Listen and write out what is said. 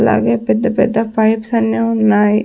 అలాగే పెద్ద పెద్ద పైప్స్ అన్ని ఉన్నాయి.